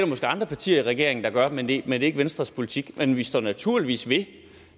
måske andre partier i regeringen der vil gøre men det er ikke venstres politik men vi står naturligvis ved